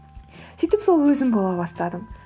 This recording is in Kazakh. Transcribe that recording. сөйтіп сол өзім бола бастадым